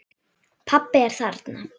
Pabbi er þarna.